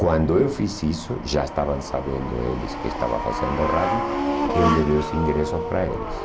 Quando eu fiz isso, já estavam sabendo eles que estava fazendo rádio, eu levei os ingressos para eles.